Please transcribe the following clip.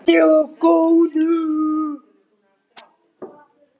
Verði þér að góðu.